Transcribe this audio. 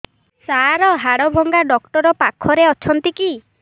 ସାର ହାଡଭଙ୍ଗା ଡକ୍ଟର ପାଖରେ ଅଛନ୍ତି କି